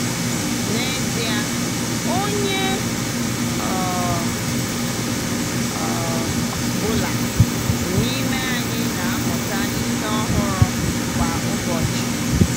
N'ezie, onye ọ um bụla n’ime anyị na-amụta ihe ọhụrụ kwa ụbọchị.